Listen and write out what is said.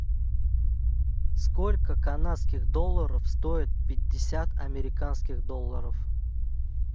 сколько канадских долларов стоит пятьдесят американских долларов